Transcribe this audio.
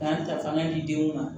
K'an ta fanga di denw ma